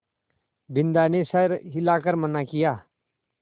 बिन्दा ने सर हिला कर मना किया